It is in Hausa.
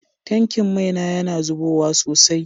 Tankin mai na yana zubowa sosai.